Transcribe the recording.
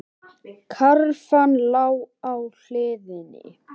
Karfan lá á hliðinni.